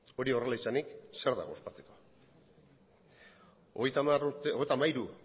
hori horrela izanik zer dago ospatzeko hogeita hamairu